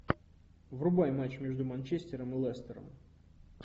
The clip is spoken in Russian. врубай матч между манчестером и лестером